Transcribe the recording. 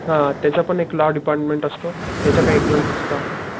त्याचा पण एक लॉ डिपार्टमेंट असतो त्याच्या काही एक्साम्स असता.